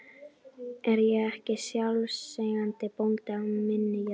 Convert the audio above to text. Er ég ekki sjálfseignarbóndi á minni jörð?